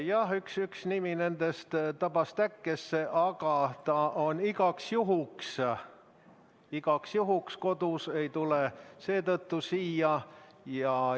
Jah, üks nimi nendest tabas täkkesse, aga ta on igaks juhuks kodus, ei tule siia.